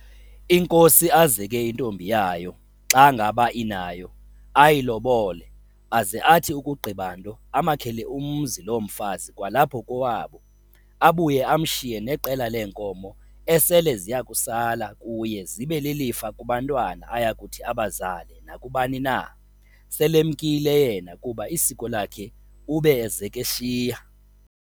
inkosi azeke intombi yayo, xa ngaba inayo, ayilobole, aze athi ukugqiba nto amakhele umzi loo mfazi kwalapho kowabo, abuye amshiye neqela lee nkomo ese ziyakusala kuye zibe lilifa kubantwana ayakuthi abazale nakubani na, sel'emkile yena, kuba isiko lakhe ube ezek'eshiya.